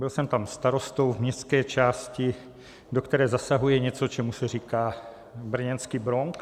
Byl jsem tam starostou v městské části, do které zasahuje něco, čemu se říká brněnský Bronx.